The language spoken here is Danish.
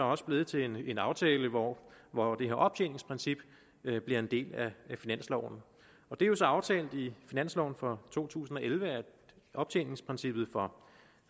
også blevet til en aftale hvor hvor det her optjeningsprincip bliver en del af finansloven det er så aftalt i finansloven for to tusind og elleve at optjeningsprincippet for